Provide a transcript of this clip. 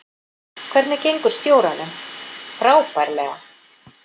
Hvernig gengur stjóranum: Frábærlega.